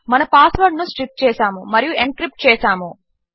మన పాస్వర్డ్ ను స్ట్రిప్ చేసాము మరియు ఎన్క్రిప్ట్ చేసాము